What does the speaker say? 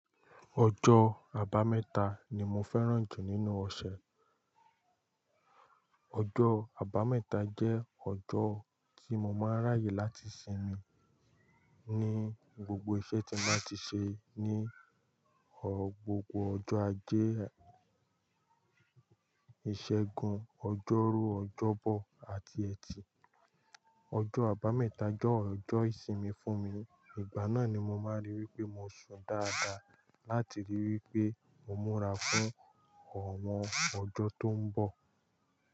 Ọjọ́ àbámẹ́ta ni mo fẹ́ràn jù nínú ọ̀ṣẹ̀. Ọjọ́ àbámẹ́ta jẹ́ ọjọ́ tí mo máa ń ráyè láti sinmi ní gbogbo iṣẹ́ tí máa ti ṣe ní gbogbo ọjọ́ ajé, ìṣẹ́gun, ọjọ́rú, ọjọ́bọ àti Ẹtì. Ọjọ́ àbámẹ́ta jẹ́ ọjọ́ ìsinmi fún mi, ìgbà náà ni mo máa ríi wí pé mo ṣùn dáadáa láti rí i wí pé mo múra fún àwọn ọjọ́ tó ń bọ̀.